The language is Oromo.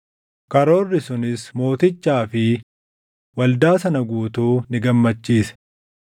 Karoorri sunis mootichaa fi waldaa sana guutuu ni gammachiise.